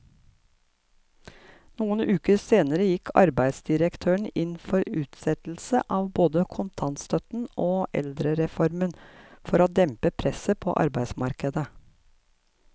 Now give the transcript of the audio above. Noen uker senere gikk arbeidsdirektøren inn for utsettelse av både kontantstøtten og eldrereformen for å dempe presset på arbeidsmarkedet.